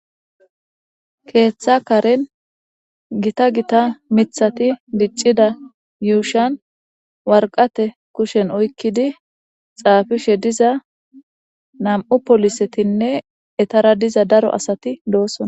Keththa gadhdhen githatha miththathi dic'ida yushshan waraqatte kushshen oyikidi xafishe dizza nam'u polisseti ettara dira daro asati de'osona.